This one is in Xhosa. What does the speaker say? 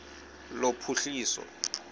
lophuhliso